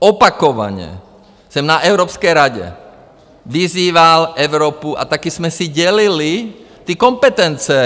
Opakovaně jsem na Evropské radě vyzýval Evropu, a taky jsme si dělili ty kompetence.